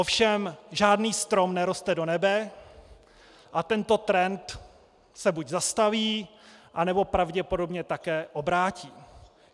Ovšem žádný strom neroste do nebe a tento trend se buď zastaví, anebo pravděpodobně také obrátí.